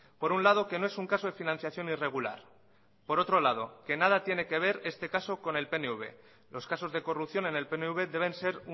por un lado que no es un caso de financiación irregular y por otro lado que nada tiene que ver este caso con el pnv los casos de corrupción en el pnv deben ser